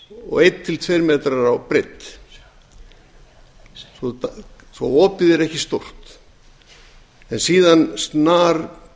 og eitt til tveir metrar á breidd svo opið er ekki stórt en síðan snarbreikkar